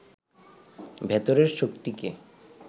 ভেতরের শক্তিকে